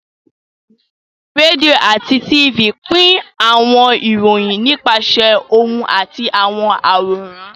Rédíò àti Tifì pín àwọn ìròyìn nípasẹ̀ ohùn àti àwọn àwòrán